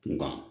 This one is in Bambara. Kunkan